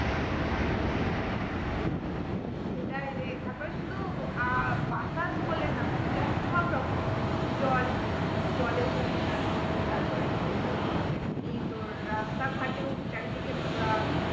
সেটাই রে, তারপরে শুধু আহ বাতাস বলে না তুই দেখ সব রকম জল জলেও pollution তারপরে তোর আহ এমনি তোর রাস্তাঘাটেও চারিদিকে নোংরা